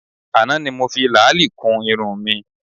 Àná ni mo fi làálì kun irun mi